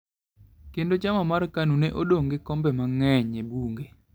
Kendo chama mare mar KANU ne odong ' gi kombe mang'eny e bunge.